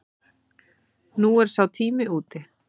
Nú er sá tími úti.